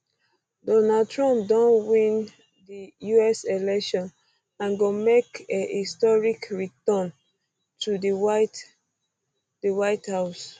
donald trump don win di us election and go make a historic return to di white di white house